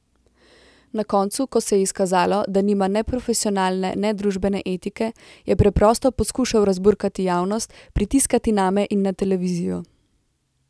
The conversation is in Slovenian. Na koncu, ko se je izkazalo, da nima ne profesionalne ne družbene etike, je preprosto poskušal razburkati javnost, pritiskati name in na televizijo.